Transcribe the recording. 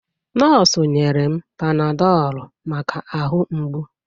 Nọọsụ nyere m panadọlụ maka ahụ mgbu.